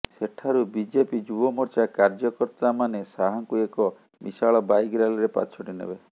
ସେଠାରୁ ବିଜେପି ଯୁବ ମୋର୍ଚ୍ଚା କାର୍ଯ୍ୟକର୍ତ୍ତା ମାନେ ଶାହାଙ୍କୁ ଏକ ବିଶାଳ ବାଇକ ରାଲିରେ ପାଛୋଟି ନେବେ